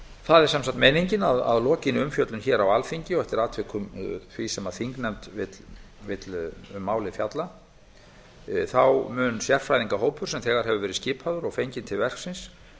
það er sem sagt meiningin að að lokinni umfjöllun hér á alþingi og eftir atvikum því sem þingnefnd vill um málið fjalla mun sérfræðingahópur sem þegar hefur verið skipaður og fenginn til verksins